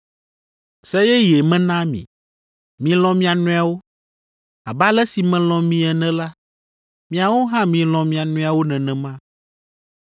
“Se yeye mena mi: Milɔ̃ mia nɔewo. Abe ale si melɔ̃ mi ene la, miawo hã milɔ̃ mia nɔewo nenema.